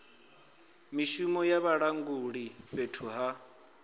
mishumo ya vhalanguli fhethu ha